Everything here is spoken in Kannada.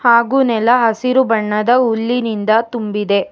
ಹಾಗು ನೆಲ ಹಸಿರು ಬಣ್ಣದ ಹುಲ್ಲಿನಿಂದ ತುಂಬಿದೆ.